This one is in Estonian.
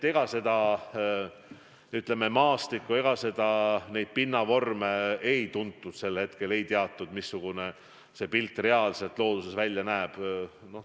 Maastikku, neid pinnavorme sel hetkel ei teatud, ei teatud, missugune pilt reaalselt looduses välja näeb.